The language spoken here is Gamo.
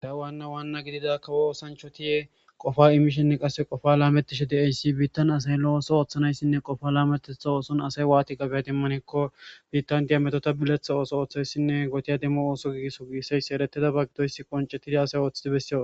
Da'uwaanna waanna gidida kawo oosancho tiye qofa imishenne qasse qofa laametishe deeysi biittan asay lo'ooso ooththanayssinne qofa laametetha ooson asay waati qabea dimmanikko biittan diyametota biletha ooso ooththayssinne gotiya demmo ooso gigiso giisseysi ereteda ba gidoyss qoncettidi asay ooththidi bessiyo